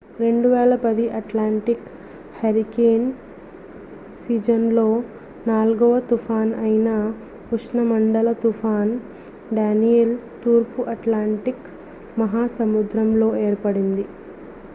2010 Atlantic hurricane సీజన్లో నాల్గవ తుఫాన్ అయిన ఉష్ణమండల తుఫాన్ డ్యానియెల్ తూర్పు అట్లాంటిక్ మహాసముద్రంలో ఏర్పడింది